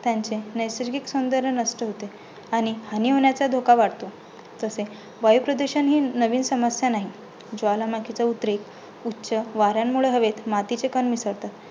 त्यांचे नैसर्गिक सौंदर्य नष्ट होते. आणि हानी होण्याचा धोका वाढतो. तसे वायुप्रदूषण हि नवीन समस्या नाही. ज्वालामुखीचा उद्रेक उच्च वाऱ्यांमुळे हवेत मातीचे कण मिसळतात.